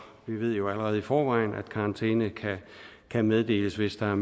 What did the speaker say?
ved jo allerede i forvejen at karantæne kan meddeles hvis der